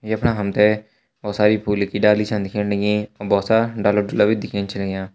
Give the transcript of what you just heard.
यफणा हम तें भोत सारी फूलों की डाली छन दिखेण लगीं और भोत सारा डाला डुला भी दिखेण छ लग्यां।